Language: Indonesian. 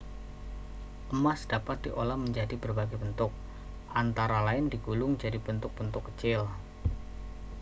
emas dapat diolah menjadi berbagai bentuk antara lain digulung jadi bentuk-bentuk kecil